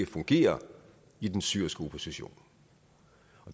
fungere i den syriske opposition